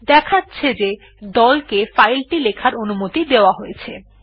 দেখা যাচ্ছে যে দল কে ফাইল টি লেখার অনুমতি দেওয়া হয়েছে